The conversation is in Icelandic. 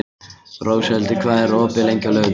Róshildur, hvað er opið lengi á laugardaginn?